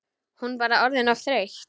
Hún bara orðin of þreytt.